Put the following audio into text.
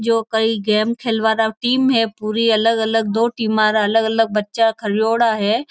जो कई गेम खेलवारा टीम है पूरी अलग अलग दो टीमारा अलग अलग बच्चा खरयोडा है।